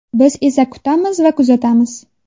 Biz esa kutamiz va kuzatamiz.